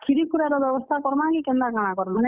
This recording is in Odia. କ୍ଷୀରୀ କ୍ଷୁରା ର ବ୍ୟବସ୍ଥା କର୍ ମା କି କେନ୍ତା କାଣା କର୍ ମା?